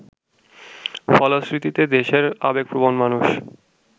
ফলশ্রুতিতে দেশের আবেগপ্রবণ মানুষ